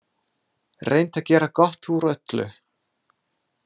Reynt að gera gott úr öllu.